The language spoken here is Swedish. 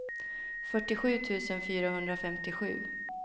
fyrtiosju tusen fyrahundrafemtiosju